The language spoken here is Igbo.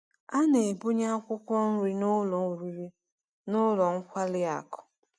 A na-ebunye akwụkwọ nri n’ụlọ oriri na ụlọ nkwari akụ.